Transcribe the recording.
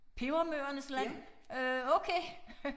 Pebermøernes land øh okay